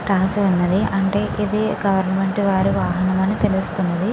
రాసి వున్నది అంటే ఇది గోవేర్మేంట్ వారి వాహనం అని తెలుస్తున్నది.